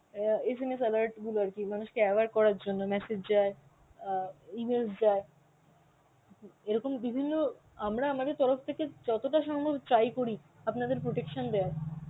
অ্যাঁ SMS alert গুলো আর কি মানুষকে aware করার জন্য message যায় অ্যাঁ E-mails যায়. এরকম বিভিন্ন আমরা আমাদের তরফ থেকে যতটা সম্ভব try করি আপনাদের protection দেওয়ার.